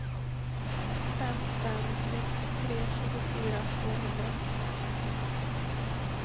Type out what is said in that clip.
fem fem sex tre tjugofyra tvåhundra